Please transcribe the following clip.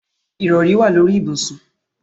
Ìrọrí wà lórí ibùsùn.